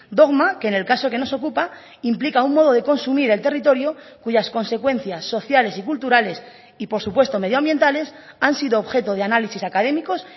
dogma que en el caso que nos ocupa implica un modo de consumir el territorio cuyas consecuencias sociales y culturales y por supuesto medioambientales han sido objeto de análisis académicos